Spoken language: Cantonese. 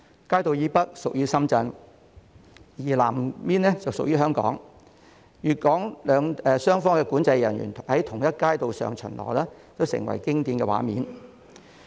街道以北屬於深圳，南邊則屬於香港，粵港雙方管制人員在同一街道上巡邏成為經典的畫面。